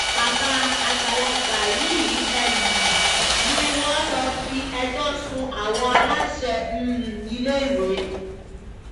bàbá àgbàlagbà yìí um ni wọ́n lọ fi ẹjọ́ sun àwọn aláṣẹ um iléèwé